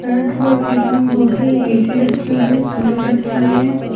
इसमें बहुत सारी ए_सी रखी हुई हैं कुलर रखी हुई हैं।